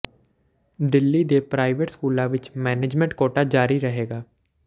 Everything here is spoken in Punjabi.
ਦਿੱਲੀ ਦੇ ਪ੍ਰਾਈਵੇਟ ਸਕੂਲਾਂ ਵਿੱਚ ਮੈਨੇਜਮੈਂਟ ਕੋਟਾ ਜਾਰੀ ਰਹੇਗਾ